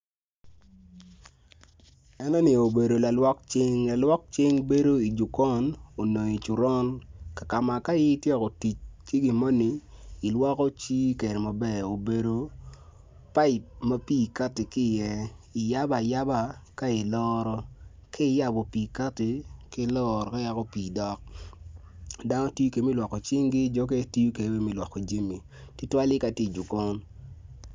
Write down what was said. Enoni obedo lalwok cing, lalwok cing bedo ijokon onyo icoron kama ka in ityeko tic ki gimo ni i lwoko cingi kede maber obedo paip ma pi kati ki i ye iyabo ayaba ka i loro, kiyabo pi kati kailorone pi dok dano tiyo kede me lwoko cinggi jokene tiyo kede me lwoko jami tutuwale katye i jokon.